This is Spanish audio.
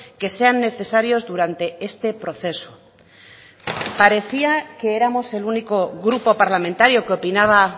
que sean necesarios durante este proceso parecía que éramos el único grupo parlamentario que opinaba